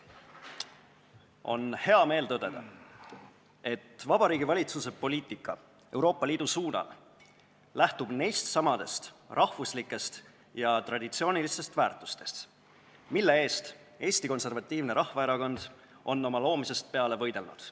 On hea meel tõdeda, et Vabariigi Valitsuse Euroopa Liidu poliitika lähtub neist samadest rahvuslikest ja traditsioonilistest väärtustest, mille eest Eesti Konservatiivne Rahvaerakond on oma loomisest peale võidelnud.